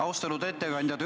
Austatud ettekandja!